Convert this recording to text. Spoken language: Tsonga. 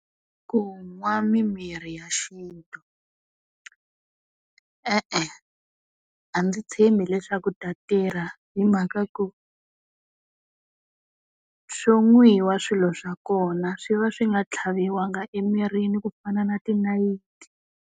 Ku nwa mimirhi ya xintu. E-e, a ndzi tshembi leswaku ta tirha hi mhaka ku swo nwiwa swilo swa kona swi va swi nga tlhaviwanga emirini ku fana na tinayiti.